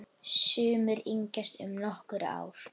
Sumir yngjast um nokkur ár.